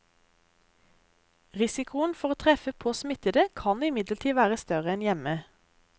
Risikoen for å treffe på smittede kan imidlertid være større enn hjemme.